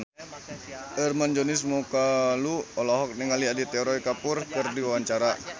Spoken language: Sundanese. Hermann Josis Mokalu olohok ningali Aditya Roy Kapoor keur diwawancara